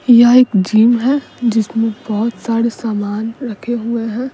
यह एक जिम है जिसमें बहुत सारे सामान रखे हुए हैं।